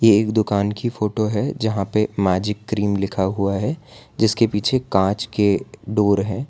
एक दुकान की फोटो है जहां पे मैजिक क्रीम लिखा हुआ है जिसके पीछे कांच के डोर है।